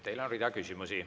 Teile on terve hulk küsimusi.